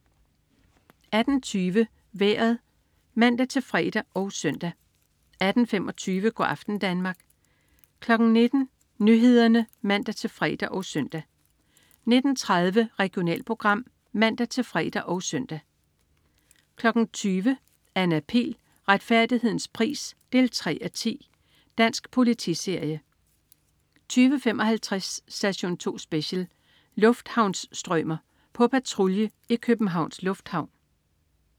18.20 Vejret (man-fre og søn) 18.25 Go' aften Danmark 19.00 Nyhederne (man-fre og søn) 19.30 Regionalprogram (man-fre og søn) 20.00 Anna Pihl. Retfærdighedens pris 3:10. Dansk politiserie 20.55 Station 2 Special: Lufthavnsstrømer. På patrulje i Københavns Lufthavn